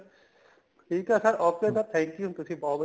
ਠੀਕ ਏ sir okay sir thank you ਤੁਸੀਂ ਬਹੁਤ ਵਧੀਆ